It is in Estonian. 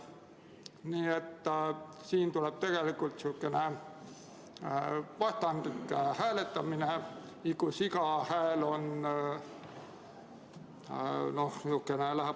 Nii et siin tuleb tegelikult sihukene vastandlik hääletamine, kus iga hääl on oluline.